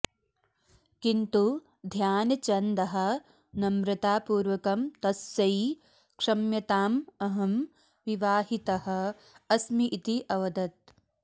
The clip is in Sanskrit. किन्तु ध्यानचन्दः नम्रतापूर्वकं तस्यै क्षम्यताम् अहं विवाहितः अस्मि इति अवदत्